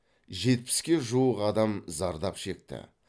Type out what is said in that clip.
жетпіске жуық адам зардап шекті